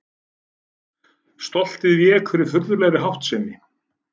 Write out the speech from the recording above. Stoltið vék fyrir furðulegri háttsemi.